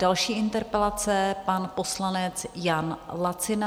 Další interpelace - pan poslanec Jan Lacina.